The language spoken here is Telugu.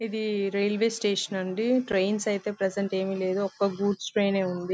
ఇది రైల్వే స్టేషన్ అండి ట్రైన్స్ అయితే ప్రెసెంట్ ఏమి లేదు ఒక్క గూడ్స్ ట్రైన్ ఉంది.